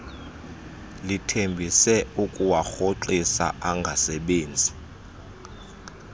lithembise ukuwarhoxisa angasebenzi